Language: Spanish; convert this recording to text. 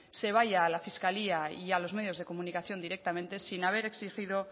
se vaya a la fiscalía y a los medios de comunicación directamente sin haber existido